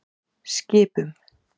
Skipum